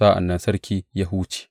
Sa’an nan sarki ya huce.